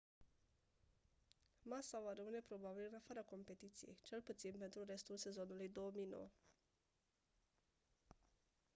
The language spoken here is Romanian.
massa va rămâne probabil în afara competiției cel puțin pentru restul sezonului 2009